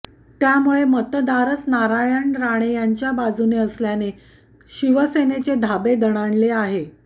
त्यामुळे मतदारच नारायण राणे यांच्या बाजूने असल्याने शिवसेनेचे धाबे दणाणले आहे